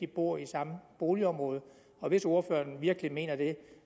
bor i samme boligområde og hvis ordføreren virkelig mener det